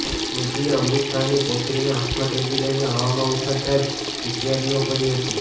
મોદીએ અમિત શાહની પૌત્રીને હાથમાં તેડી લઇને હવામાં ઉછાળતાં જ ચીચીયારીઓ પડી હતી